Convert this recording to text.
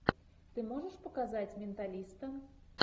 ты можешь показать менталиста